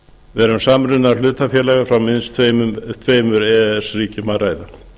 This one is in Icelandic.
vera um samruna hlutafélaga frá minnst tveimur e e s ríkjum að ræða